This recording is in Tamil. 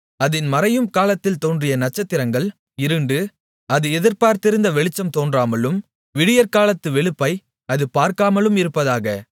அதின் மறையும் காலத்தில் தோன்றிய நட்சத்திரங்கள் இருண்டு அது எதிர்பார்த்திருந்த வெளிச்சம் தோன்றாமலும் விடியற்காலத்து வெளுப்பை அது பார்க்காமலும் இருப்பதாக